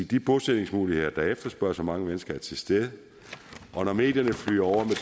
de bosætningsmuligheder der efterspørges af mange mennesker er til stede og når medierne flyder over med